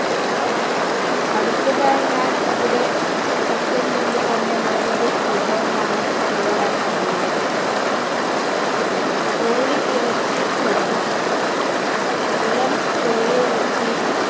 അടുത്തതായി ഞാൻ ഇവിടെ chicken കൊണ്ട് തന്നെ വേറൊരു വിഭവമാണ് തയ്യാറാക്കാൻ പോകുന്നത് കോഴി ഇറച്ചി കുറുമ ഇളം കോഴി ഇറച്ചി